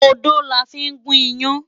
Odó la fí ń gún iyán.